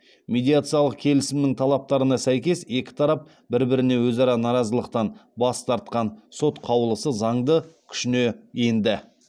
медиациялық келісімнің талаптарына сәйкес екі тарап бір біріне өзара наразылықтан бас тартқан сот қаулысы заңды күшіне енді